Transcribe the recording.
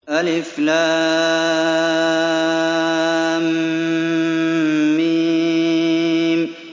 الم